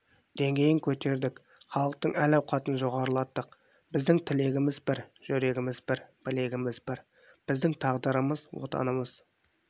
деңгейін көтердік халықтың әл-ауқатын жоғарылаттық біздің тілегіміз бір жүрегіміз бір білегіміз бір біздің тағдырымыз отанымыз